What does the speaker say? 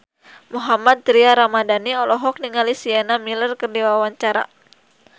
Mohammad Tria Ramadhani olohok ningali Sienna Miller keur diwawancara